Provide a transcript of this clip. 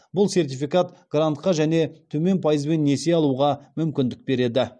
бұл сертификат грантқа және төмен пайызбен несие алуға мүмкіндік береді